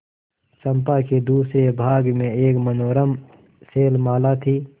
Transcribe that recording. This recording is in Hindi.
चंपा के दूसरे भाग में एक मनोरम शैलमाला थी